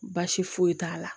Baasi foyi t'a la